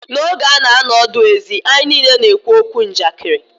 N'oge a nọ ọdụ ezi, anyị niile na-ekwu okwu Njakịrị.